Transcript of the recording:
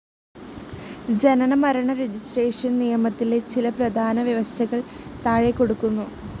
ജനന മരണ രജിസ്ട്രേഷൻ നിയമത്തിലെ ചില പ്രധാന വ്യവസ്ഥകൾ താഴെകൊടുക്കുന്നു.